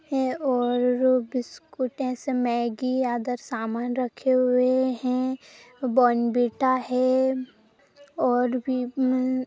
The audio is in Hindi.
हैऔर बिस्कुट ऐसे मैगी अदर सामान रखे हुए है बोनविटा है और भी---- और भी हम्म--